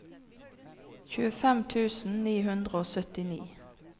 tjuefem tusen ni hundre og syttini